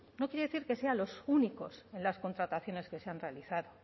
quiere decir que sean los únicos en las contrataciones que se han realizado